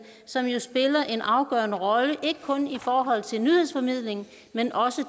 som jo spiller en afgørende rolle ikke kun i forhold til nyhedsformidlingen men også